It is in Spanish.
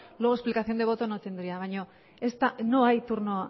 luego explicación de voto no tendría baina no hay turno